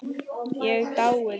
Ég dái þig.